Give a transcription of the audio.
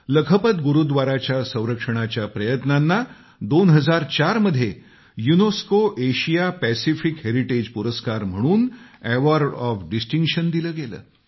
लखपत गुरूव्दाराच्या संरक्षणाच्या प्रयत्नांना 2004 मध्ये युनेस्को एशिया पॅसिफिक हेरिटेज पुरस्कार म्हणून एवॉर्ड ऑफ डिस्टिंक्शन दिलं गेलं